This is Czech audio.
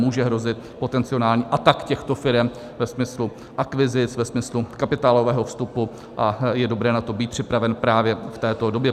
Může hrozit potenciální atak těchto firem ve smyslu akvizic, ve smyslu kapitálového vstupu, a je dobré na to být připraven právě v této době.